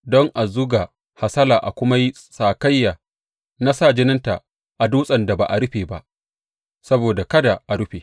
Don a zuga hasala a kuma yi sakayya na sa jininta a dutsen da ba a rufe ba, saboda kada a rufe.